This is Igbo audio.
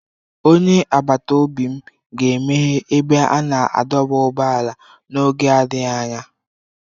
Onye agbata obi m ga-emeghe ebe a na-adọba ụgbọala n'oge adịghị anya.